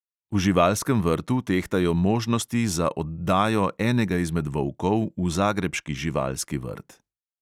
V živalskem vrtu tehtajo možnosti za oddajo enega izmed volkov v zagrebški živalski vrt.